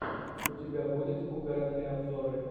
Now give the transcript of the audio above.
у тебя будет угарные обзоры